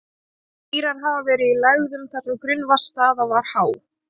Mýrar hafa verið í lægðum þar sem grunnvatnsstaða var há.